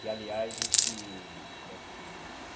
Que, aliás, esse... Como é que se diz?